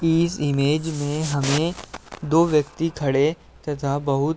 इस इमेज में हमें दो व्यक्ति खड़े तथा बहुत --